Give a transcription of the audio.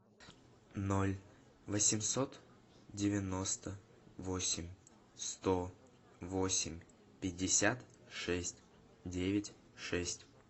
ноль восемьсот девяносто восемь сто восемь пятьдесят шесть девять шесть